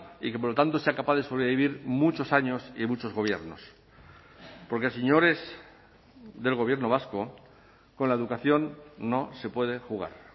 y que por lo tanto sea capaz de sobrevivir muchos años y muchos gobiernos porque señores del gobierno vasco con la educación no se puede jugar